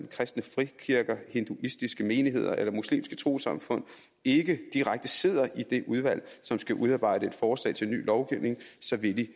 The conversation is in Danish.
kristne frikirker hinduistiske menigheder eller muslimske trossamfund ikke direkte sidder i det udvalg som skal udarbejde et forslag til ny lovgivning så vil de